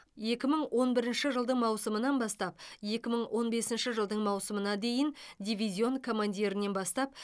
екі мың он бірінші жылдың маусымынан бастап екі мың он бесінші жылдың маусымына дейін дивизион командирінен бастап